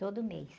Todo mês.